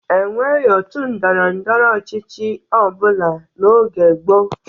E nweghi òtù ndọrọ ndọrọ ọchịchị ọ bụla n'oge gboo.